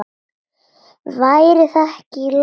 Væri það ekki í lagi?